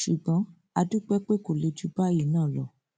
ṣùgbọn a dúpẹ pé kò le jù báyìí náà lọ